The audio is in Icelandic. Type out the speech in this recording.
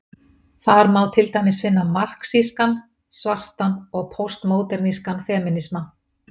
Þar má til dæmis finna marxískan, svartan og póstmódernískan femínisma.